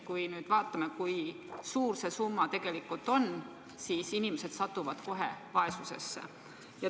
Kui me nüüd vaatame, kui suur see summa tegelikult on, siis inimesed satuvad kohe vaesusesse.